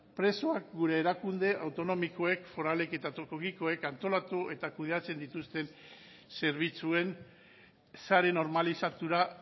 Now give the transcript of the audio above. presoak gure erakunde autonomikoek foralek eta tokikoek antolatu eta kudeatzen dituzten zerbitzuen sare normalizatura